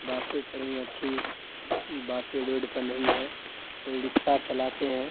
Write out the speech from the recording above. बातें करनी अच्छी बातें रोड पर नहीं है कोई रिक्शा चलाते हैं।